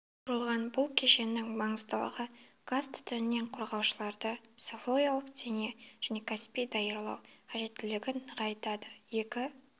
құрылған бұл кешеннің маңыздылығы газ түтіннен қорғаушыларды психологиялық дене және кәсіби даярлау қажеттілігін нығайтады екі